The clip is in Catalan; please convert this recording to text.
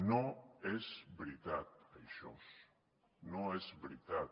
no és veritat això no és veritat